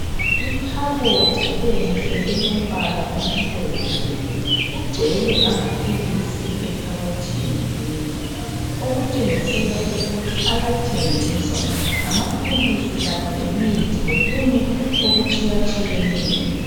Ikhabothi enhle elombala omhlophe. Kugcwele amaphilisi ekhabothini leyo okutshengisela ukuthi ayathengiswa. Ngamaphilisi kanye lemithi lokunye okutshiya tshiyeneyo.